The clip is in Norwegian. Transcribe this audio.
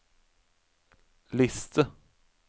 liste